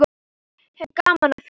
Ég hef gaman af því.